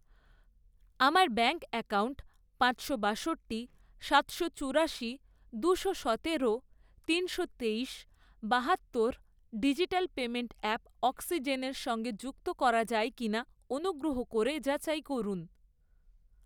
আমার bank account পাঁচশো বাষট্টি, সাতশো চুরাশি, দুশো সতেরো, তিনশো তেইশ, বাহাত্তর ডিজিটাল পেমেন্ট অ্যাপ অক্সিজেনের সঙ্গে যুক্ত করা যায় কিনা অনুগ্রহ করে যাচাই করুন।